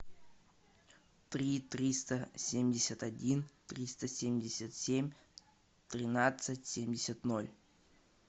три триста семьдесят один триста семьдесят семь тринадцать семьдесят ноль